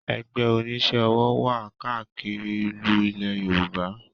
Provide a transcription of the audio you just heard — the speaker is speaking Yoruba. Ẹgbẹ́ onísẹ́ ọwọ́ wà káàkiri ìlú ilẹ̀ Yorùbá